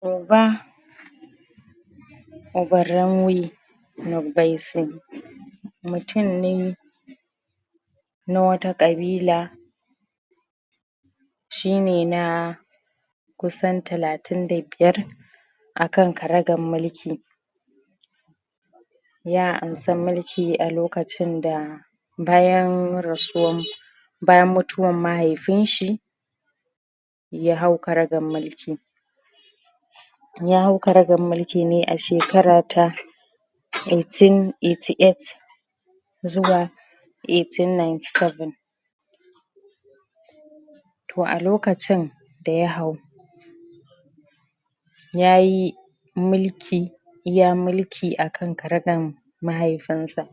Duba?? mutum ne na wata ƙabila shine na kusan talatin da biyar a kan karagar mulki ya amsa mulki a lokacin da bayan rasuwan bayan mutuwar mahaifinshi ya hau karagan mulki ya hau karagan mulki ne a shekara ta 1888 zuwa 1897 to a lokacin da ya hau ya yi mulki iya mulki a kan karagar mahaifinsa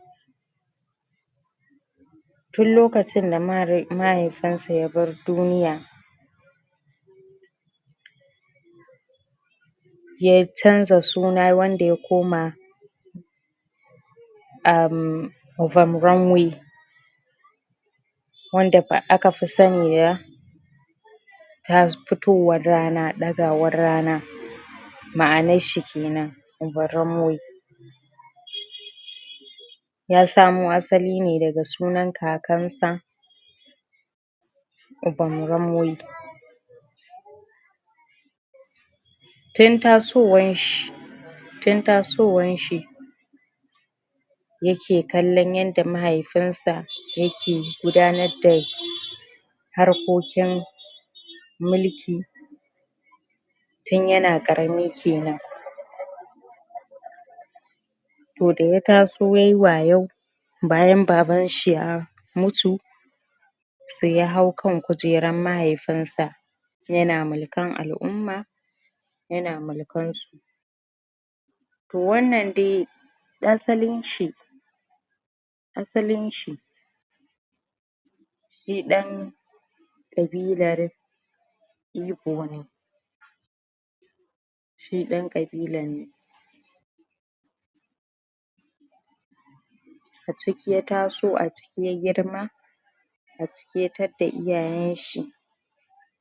tun lokacin da mahaifinsa ya bar duniya ya canza suna wanda ya koma?? wanda a ka fi sani da? fitowar rana ɗagawar rana ma'anar shi kenan?? ya samo asali ne daga sunan kakansa??? tun tasowar shi tun tasowar shi yake kallon yadda mahaifinsa yake gudanar da harkokin mulki tun yana ƙarami kenan to da ya taso yayi wayau bayan babanshi ya mutu sai ya hau kan kujerar mahaifinsa yana mulkan al'umma yana mulkansu wannan dai asalin shi asalin shi shi ɗan ƙabilar Ibo ne shi ɗan ƙabilar ne a ciki ya taso a ciki ya girma a ciki ya tadda iyayenshi